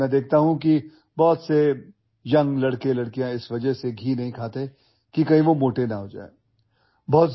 لیکن میں دیکھتا ہوں کہ بہت سے نوجوان لڑکے اور لڑکیاں گھی نہیں کھاتے، کیونکہ انہیں ڈر ہے کہ وہ موٹے ہو جائیں گے